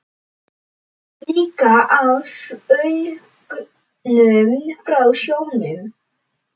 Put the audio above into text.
Líka af söngnum frá sjónum.